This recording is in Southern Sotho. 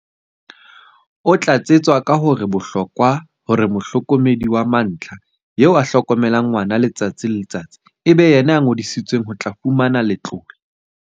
O tlatsetsa ka hore ho bohlokwa hore mohlokomedi wa mantlha, eo a hlokomelang ngwana letsatsi le letsatsi, e be yena ya ngodisetsweng ho tla fumantshwa letlole.